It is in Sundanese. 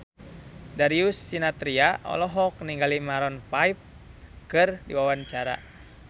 Darius Sinathrya olohok ningali Maroon 5 keur diwawancara